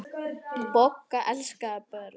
Bogga elskaði börn.